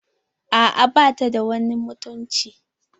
A'a bata da wani mutunci.